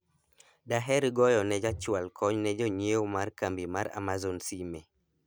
daher goyone ja chwal kony ne jonyiewo mar kambi mar amazon sime